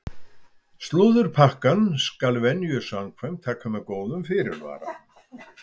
Slúðurpakkann skal venju samkvæmt taka með góðum fyrirvara!